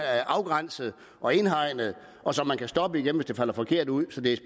er afgrænset og indhegnet og som man kan stoppe igen hvis det falder forkert ud så det er